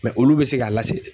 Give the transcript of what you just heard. olu bE se ka lase